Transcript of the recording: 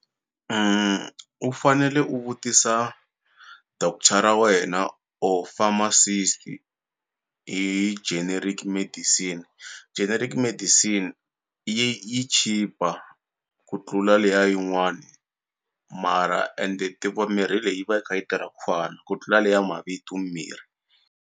U fanele u vutisa doctor ra wena or pharmacist hi generic medicine, generic medicine yi yi chipa ku tlula leya yin'wani mara ende ti va mirhi leyi yi va yi kha yi tirha ku fana ku tlula leya mavitu mimirhi.